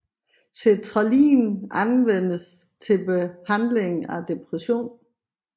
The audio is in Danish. Sertralin anvendes til behandling af depression